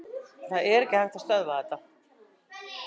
Það er ekki hægt að stöðva þetta.